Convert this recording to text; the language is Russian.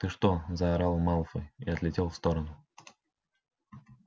ты что заорал малфой и отлетел в сторону